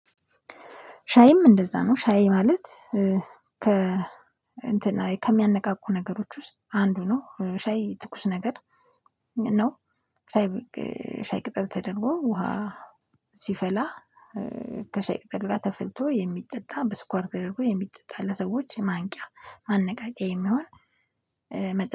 ሻይም እንደዛ ነው ሻይ ማለት ከ እንትን ከሚያነቃቁ ነገሮች ውስጥ አንዱ ነው ሻይ ትኩስ ነገር ነው። ሻይ ቅጠል ተደርጎ ውሃ ሲፈላ ከሻይ ቅጠል ጋር ተፈልቶ የሚጠጣ በስኳር ተደረጎ የሚጠጣ ለሰዎች ማንቂያ ማነቃቂያ የሚሆን።